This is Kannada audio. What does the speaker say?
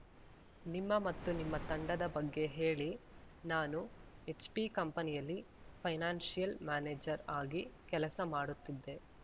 ನಿಮ್ಮ ಮತ್ತು ನಿಮ್ಮ ತಂಡದ ಬಗ್ಗೆ ಹೇಳಿ ನಾನು ಎಚ್‌ಪಿ ಕಂಪನಿಯಲ್ಲಿ ಫೈನಾನ್ಸಿಯಲ್‌ ಮ್ಯಾನೇಜರ್‌ ಆಗಿ ಕೆಲಸ ಮಾಡುತ್ತಿದ್ದೆ